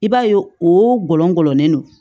I b'a ye o gɔlɔlen do